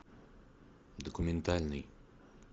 документальный